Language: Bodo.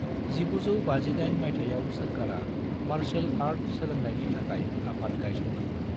1958 मायथाइयाव सोरखारा मार्शल आर्ट सोलोंनायनि थाखाय आफाद गायसनदों मोन।